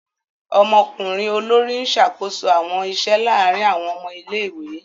Ọmọkunrin olori n ṣakoso awọn iṣẹ laarin awọn ọmọ ìlé-ìwé.